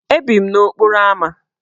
Ebi m n'okporo ámá.